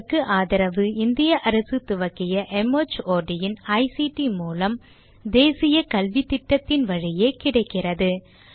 இதற்கு ஆதரவு இந்திய அரசு துவக்கிய மார்ட் இன் ஐசிடி மூலம் தேசிய கல்வித்திட்டத்தின் வழியே கிடைக்கிறது